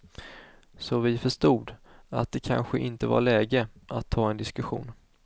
Så vi förstod att det kanske inte var läge att ta en diskussion.